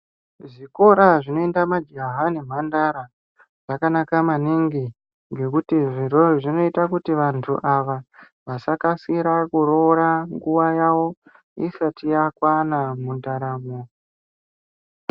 Zvikora zvinoenda majaha nemhandara zvakanaka maningi ngekuti zvirozvo zvinoita kuti vantu ava vasakasikira kuroora nguwa yawo isati yakwana mundaramo.